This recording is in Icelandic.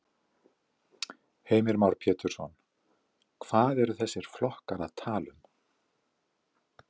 Heimir Már Pétursson: Hvað eru þessir flokkar að tala um?